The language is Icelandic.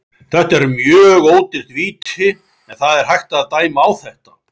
Þetta er mjög ódýrt víti en það er hægt að dæma á þetta.